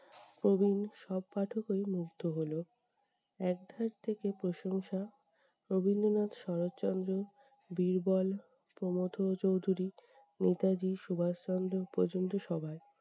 প্রবীণ সব পাঠকেই মুগ্ধ হলো। একধাপ থেকে প্রশংসা, রবীন্দ্রনাথ-শরৎচন্দ্রের বীরবল, প্রমথ চৌধুরীর নেতাজি সুভাষচন্দ্র পর্যন্ত সবার।